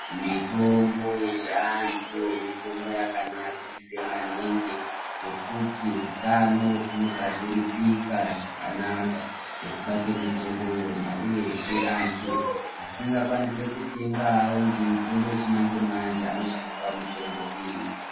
Mitombo yechiantu mitombo yakanakise maningi ngekuti utano hunogadzirisika zvakanaka ngekuda kwemitombo yona uyezve antu asingakwanise kutengawo ngemitombo yechimanje manje anoshandisawo mitombo iyi